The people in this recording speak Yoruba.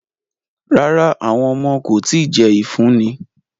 Rara, awọn ọmọ ko ti jẹ ifunni